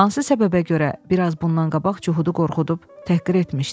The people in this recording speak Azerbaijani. Hansı səbəbə görə biraz bundan qabaq cühudu qorxudub, təhqir etmişdi?